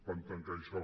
van tancar això